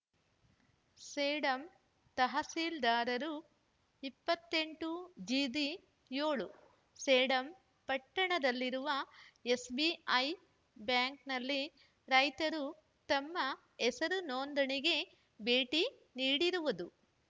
ಸೇಡಂ ತಹಶೀಲ್ದಾರರು ಇಪ್ಪತ್ತ್ ಎಂಟು ಜಿಬಿ ಏಳು ಸೇಡಂ ಪಟ್ಟಣದಲ್ಲಿರುವ ಎಸ್‌ಬಿಐ ಬ್ಯಾಂಕ್‌ನಲ್ಲಿ ರೈತರು ತಮ್ಮ ಹೆಸರು ನೋಂದಣಿಗೆ ಭೇಟಿ ನೀಡಿರುವುದು